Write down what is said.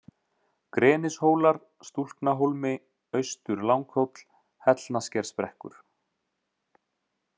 Grenishólar, Stúlknahólmi, Austur-Langhóll, Hellnaskersbrekkur